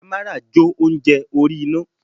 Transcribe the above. Amara jo ounjẹ orí iná.